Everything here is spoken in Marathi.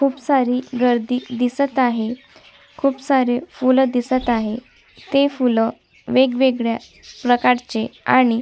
खूप सारी गर्दी दिसत आहे खूप सारी फूल दिसत आहे ती फूल वेगवेगळ्या प्रकारची आणि--